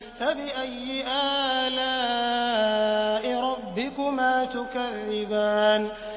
فَبِأَيِّ آلَاءِ رَبِّكُمَا تُكَذِّبَانِ